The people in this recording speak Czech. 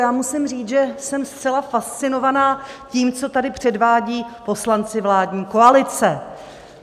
Já musím říct, že jsem zcela fascinovaná tím, co tady předvádí poslanci vládní koalice.